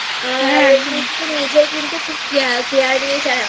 আর তুই নিজের কিন্তু Care নিস